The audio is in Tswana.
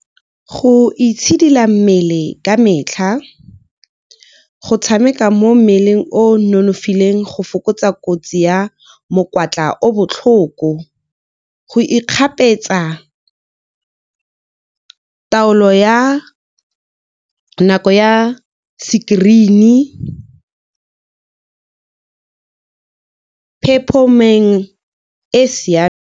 Go itshidila mmele ka metlha, go tshameka mo mmeleng o nonofileng go fokotsa kotsi ya mokwatla o botlhoko, go ikgapetsa taolo ya nako ya screen-i, e e siameng.